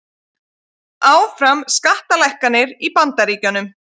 Áfram skattalækkanir í Bandaríkjunum